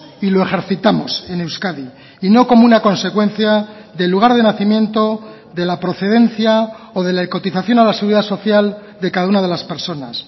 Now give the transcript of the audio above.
y lo ejercitamos en euskadi y no como una consecuencia del lugar de nacimiento de la procedencia o de la cotización a la seguridad social de cada una de las personas